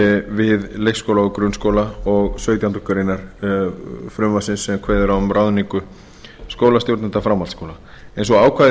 við leikskóla og grunnskóla og sautjándu grein frumvarpsins sem kveður á um ráðningu skólastjórnenda framhaldsskóla eins og ákvæðin í